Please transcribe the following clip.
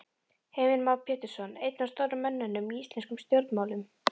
Heimir Már Pétursson: Einn af stóru mönnunum í íslenskum stjórnmálum?